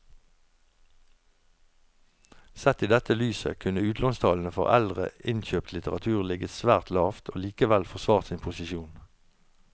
Sett i dette lyset kunne utlånstallene for eldre innkjøpt litteratur ligget svært lavt og likevel forsvart sin posisjon.